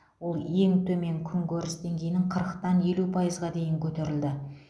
ол ең төмен күнкөріс деңгейінің қырықтан елу пайызға дейін көтерілді